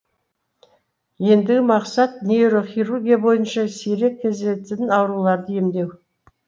ендігі мақсат нейрохирургия бойынша сирек кездесетін ауруларды емдеу